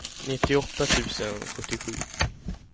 nittioåtta tusen sjuttiosju